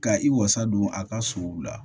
Ka i wasa don a ka sow la